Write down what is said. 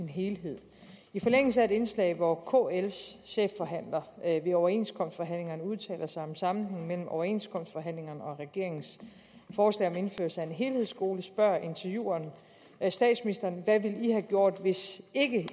helhed i forlængelse af et indslag hvor kls chefforhandler i overenskomstforhandlingerne udtaler sig om sammenhængen mellem overenskomstforhandlingerne og regeringens forslag om indførelse af en helhedsskole spørger intervieweren statsministeren hvad ville i have gjort hvis